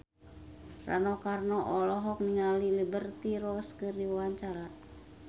Rano Karno olohok ningali Liberty Ross keur diwawancara